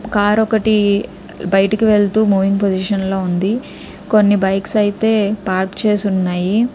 Car ఒకటి బయటికి వెళ్తూ మూవింగ్ పొజిషన్లో ఉంది. కొన్ని బైక్స్ అయితే పార్క్ చేసి ఉన్నాయి.